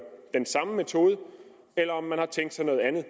den samme metode eller om man har tænkt sig noget andet